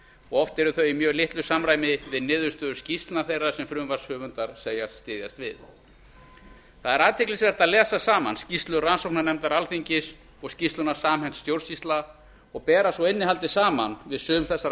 og oft eru þau í mjög litlu samræmi við niðurstöður skýrslna þeirra sem frumvarpshöfundar segjast styðjast við það er athyglisvert að lesa saman skýrslu rannsóknarnefndar alþingis og skýrsluna samhent stjórnsýsla og bera svo innihaldið saman við sum þessara